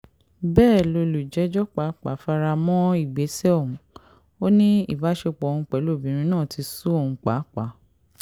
bẹ́ẹ̀ lọ́lùjẹ́jọ́ pàápàá fara mọ́ ìgbésẹ̀ ọ̀hún ò ní ìbásepọ̀ òun pẹ̀lú obìnrin náà ti sú òun pàápàá